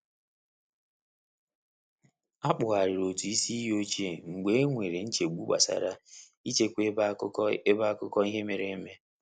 A kpugharịrị otụ isi iyi ochie mgbe e nwere nchegbu gbasara i chekwa ebe akụkọ ebe akụkọ ihe mere eme.